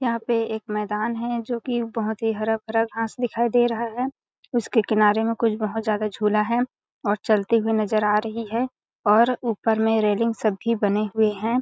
यहाँ पे एक मैदान है जो की बहोत ही हरा-भरा घास दिखाई दे रहा है उसके किनारे में कोई बहोत ज्यादा झूला है और चलते हुए नज़र आ रही है और ऊपर में रेलिंग सब भी बने हुए है।